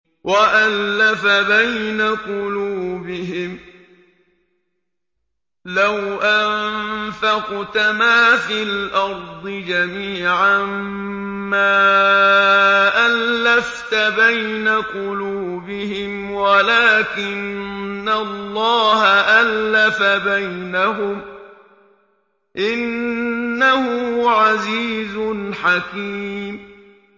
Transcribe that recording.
وَأَلَّفَ بَيْنَ قُلُوبِهِمْ ۚ لَوْ أَنفَقْتَ مَا فِي الْأَرْضِ جَمِيعًا مَّا أَلَّفْتَ بَيْنَ قُلُوبِهِمْ وَلَٰكِنَّ اللَّهَ أَلَّفَ بَيْنَهُمْ ۚ إِنَّهُ عَزِيزٌ حَكِيمٌ